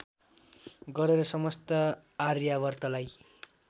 गरेर समस्त आर्यावर्तलाई